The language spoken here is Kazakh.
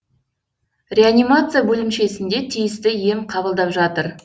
реанимация бөлімшесінде тиісті ем қабылдап жатыр